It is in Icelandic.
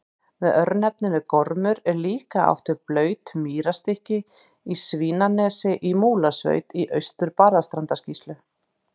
Með örnefninu Gormur er líklega átt við blautt mýrarstykki á Svínanesi í Múlasveit í Austur-Barðastrandarsýslu.